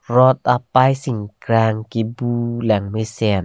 rot apai singkrang kebu langmesen.